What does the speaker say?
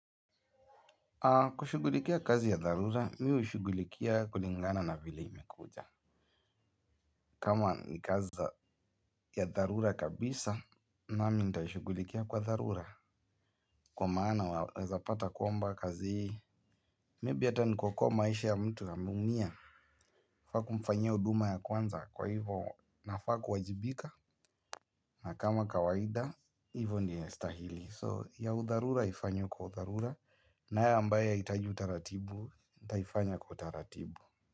Kushughulikia kazi ya dharura mi hushughulikia kulingana na vile imekuja. Kama ni kazi ya dharura kabisa nami nitashughulikia kwa dharura. Kwa maana waezapata kwamba kazi maybe hata ni kuokoa maisha ya mtu ameumia. Nafaa kumfanyia huduma ya kwanza kwa hivo nafaa kuwajibika. Na kama kawaida hivo ndio inastahili so ya udharura ifanywe kwa udharura nayo ambaye yahitaji utaratibu nitaifanya kwa utaratibu.